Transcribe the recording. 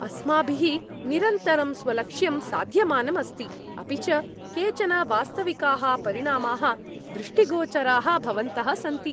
अस्माभिः निरन्तरं स्वलक्ष्यं साध्यमानं अस्ति, अपि च केचन वास्तविकाः परिणामाः दृष्टिगोचराः भवन्तः सन्ति।